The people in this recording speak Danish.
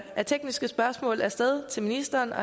af tekniske spørgsmål af sted til ministeren og